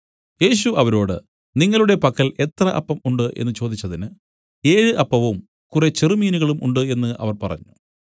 യേശു അവരോട് നിങ്ങളുടെ പക്കൽ എത്ര അപ്പം ഉണ്ട് എന്നു ചോദിച്ചതിന് ഏഴ് അപ്പവും കുറെ ചെറുമീനുകളും ഉണ്ട് എന്നു അവർ പറഞ്ഞു